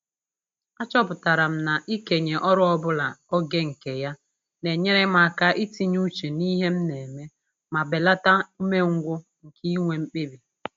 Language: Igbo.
Achọpụtara m na-ikenye ọrụ ọbụla oge nke ya na-enyere m aka itinye uche n'ihe m na-eme ma belata umengwụ nke inwe mkpebi